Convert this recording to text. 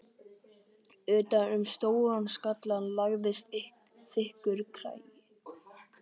Utan um stóran skallann lagðist þykkur kragi.